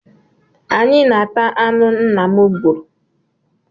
Anyị na-ata anụ nna m gburu